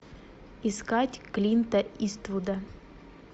искать клинта иствуда